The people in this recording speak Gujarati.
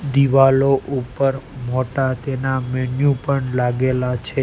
દિવાલો ઉપર મોટા તેના મેન્યુ પણ લાગેલા છે.